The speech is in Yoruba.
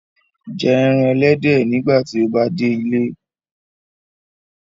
Jẹ ẹran ẹlẹdẹ nigbati o ba de ile